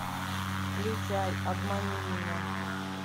включай обмани меня